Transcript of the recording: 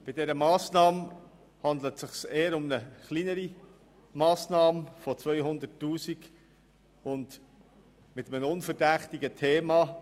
Hier handelt es sich um eine eher kleinere Massnahme im Umfang von 200 000 Franken und mit einem unverdächtigen Titel.